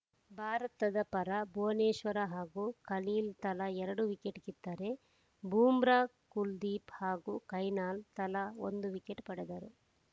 ಭಾರತದ ಪರ ಭುವನೇಶ್ವರ್ ಹಾಗೂ ಖಲೀಲ್‌ ತಲಾ ಎರಡು ವಿಕೆಟ್‌ ಕಿತ್ತರೆ ಬೂಮ್ರಾ ಕುಲ್ದೀಪ್‌ ಹಾಗೂ ಕೈನಾಲ್‌ ತಲಾ ಒಂದು ವಿಕೆಟ್‌ ಪಡೆದರು